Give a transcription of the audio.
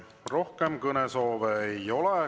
Rohkem kõnesoove ei ole.